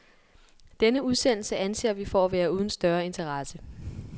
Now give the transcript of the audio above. Denne udsendelse anser vi for at være uden større interesse.